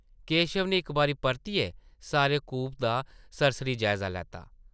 केशव नै इक बारी परतियै सारे कूपे दा सरसरी जायज़ा लैता ।